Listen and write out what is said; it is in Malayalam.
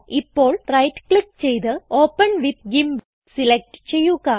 ഇപ്പോൾ റൈറ്റ് ക്ലിക്ക് ചെയ്ത് ഓപ്പൻ വിത്ത് ഗിംപ് സിലക്റ്റ് ചെയ്യുക